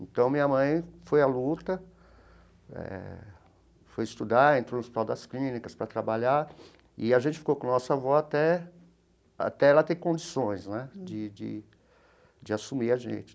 Então, minha mãe foi à luta eh, foi estudar, entrou no Hospital das Clínicas para trabalhar, e a gente ficou com a nossa avó até até ela ter condições né de de de assumir a gente.